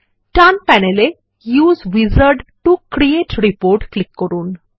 ডান panel এ use wizard to create report click করুন